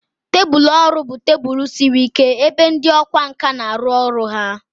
Tebụl ọrụ bụ tebụl siri ike ebe ndị ọkwá nkà na-arụ ọrụ ha.